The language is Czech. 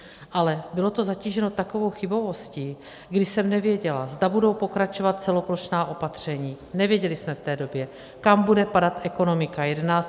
Ale bylo to zatíženo takovou chybovostí, kdy jsem nevěděla, zda budou pokračovat celoplošná opatření, nevěděli jsme v té době, kam bude padat ekonomika.